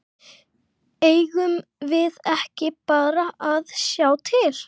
Eigum við ekki bara að sjá til?